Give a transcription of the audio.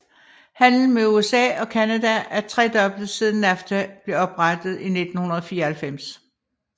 Handlen med USA og Canada er tredoblet siden NAFTA blev oprettet i 1994